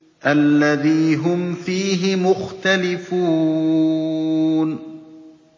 الَّذِي هُمْ فِيهِ مُخْتَلِفُونَ